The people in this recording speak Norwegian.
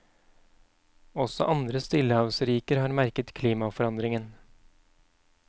Også andre stillehavsriker har merket klimaforandringen.